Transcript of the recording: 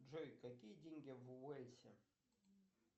джой какие деньги в уэльсе